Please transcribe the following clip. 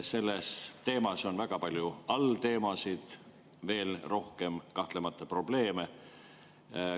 Selles teemas on väga palju allteemasid, probleeme kahtlemata veel rohkem.